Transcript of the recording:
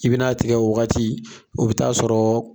I bɛn'a tigɛ o wagati, o bɛ taa sɔrɔ